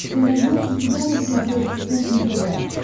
ты найдешь у себя на смотрешке кухня тв